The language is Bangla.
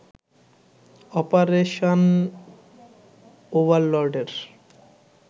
অপারেশান ওভারলর্ডের